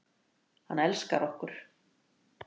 Hann elskar okkur.